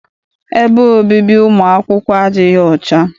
Ebe obibi ụmụ akwụkwọ adịghị ọcha.